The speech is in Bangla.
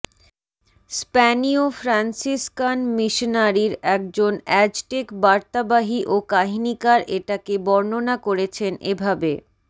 স্প্যানিয় ফ্রান্সিসকান মিশনারীর একজন অ্যাজটেক বার্তাবাহী ও কাহিনীকার এটাকে বর্ণনা করেছেন এভাবেঃ